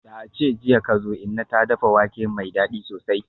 Da ace jiya kazo, inna ta dafa wake mai dadi sosai.